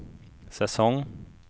säsong